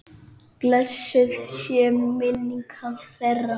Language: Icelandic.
Blessuð sé minning hans, þeirra.